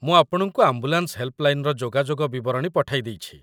ମୁଁ ଆପଣଙ୍କୁ ଆମ୍ବୁଲାନ୍ସ ହେଲ୍ପଲାଇନର ଯୋଗାଯୋଗ ବିବରଣୀ ପଠାଇ ଦେଇଛି।